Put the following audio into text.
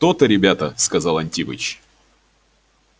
то-то ребята сказал антипыч